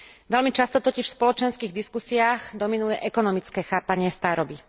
Veľmi často totiž v spoločenských diskusiách dominuje ekonomické chápanie staroby.